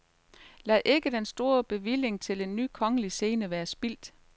Lad ikke den store bevilling til en ny kongelig scene være spildt.